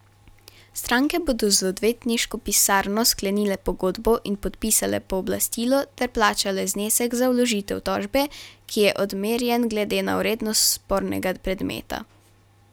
Stranke bodo z odvetniško pisarno sklenile pogodbo in podpisale pooblastilo ter plačale znesek za vložitev tožbe, ki je odmerjen glede na vrednost spornega predmeta.